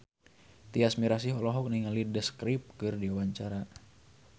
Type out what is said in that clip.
Tyas Mirasih olohok ningali The Script keur diwawancara